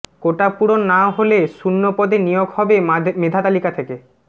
কোটা পূরণ না হলে শূন্য পদে নিয়োগ হবে মেধাতালিকা থেকে